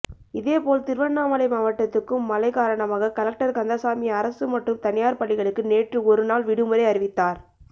இதேபோல் திருவண்ணாமலை மாவட்டத்துக்கும் மழை காரணமாக கலெக்டர் கந்தசாமி அரசு மற்றும் தனியார் பள்ளிகளுக்கு நேற்று ஒருநாள் விடுமுறை அறிவித்தார்